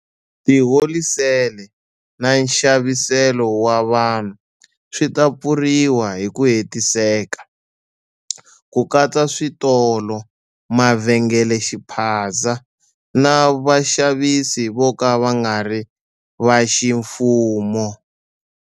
Tiholisele na nxaviselo wa vanhu swi ta pfuriwa hi ku hetiseka, ku katsa switolo, mavhengelexiphaza na vaxavisi vo ka va nga ri va ximfumo.